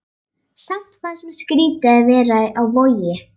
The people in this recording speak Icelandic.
Samt fannst mér skrýtið að vera á Vogi.